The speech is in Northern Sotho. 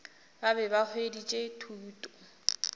ba be ba hweditše thuto